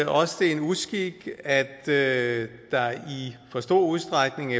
også det er en uskik at der i for stor udstrækning